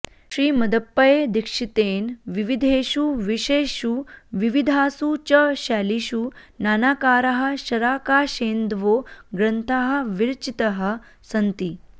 श्रीमदप्पयदीक्षितेन विविधेषु विषयेषु विविधासु च शैलीषु नानाकाराः शराकाशेन्दवो ग्रन्थाः विरचिताः सन्ति